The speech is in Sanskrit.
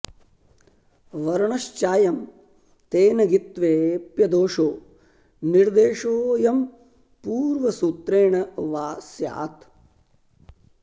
वर्णश्चायम् तेन ङित्त्वे ऽप्यदोषो निर्देशो ऽयं पूर्वसूत्रेण वा स्यात्